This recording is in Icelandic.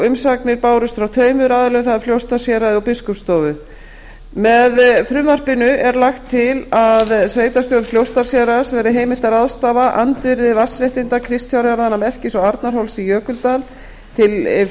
umsagnir bárust frá tveimur aðilum það er frá fljótsdalshéraði og biskupsstofu með frumvarpinu er lagt til að sveitarstjórn fljótsdalshéraðs verði heimilt að ráðstafa andvirði vatnsréttinda kristfjárjarðanna merkis og arnarhóls í jökuldal til